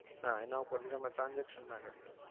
હા એના પાર થી તમે ના કરી શકો.